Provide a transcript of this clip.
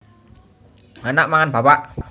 Anak mangan bapak